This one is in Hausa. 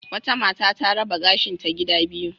Wata mata ta raba gashinta gida biyu.